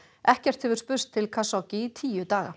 ekkert hefur spurst til Khashoggi í tíu daga